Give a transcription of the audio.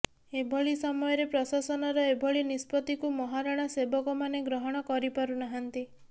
ଏଭଳି ସମୟରେ ପ୍ରଶାସନର ଏଭଳି ନିଷ୍ପତ୍ତିକୁ ମହାରଣା ସେବକମାନେ ଗ୍ରହଣ କରିପାରୁନାହାନ୍ତି